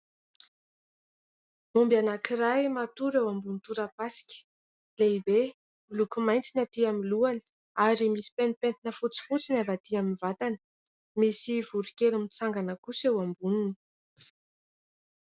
Omby anankiray matory eo ambonin'ny torapasika lehibe miloko mainty ny atỳ amin'ny lohany ary misy pentipentina fotsifotsy ny avy atỳ amin'ny vatany. Misy voronkely mitsangana kosa eo amboniny.